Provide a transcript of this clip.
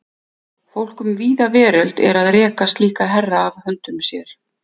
Fólk um víða veröld er að reka slíka herra af höndum sér.